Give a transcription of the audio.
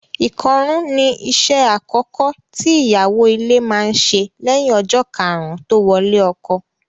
Ìkọrún ni iṣẹ́ àkọ́kọ́ tí ìyàwó ilé máa ń ṣe lẹ́yìn ọjọ́ karùn-ún tó wọlé ọkọ.